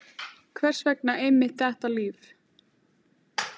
Hvers vegna einmitt þetta líf?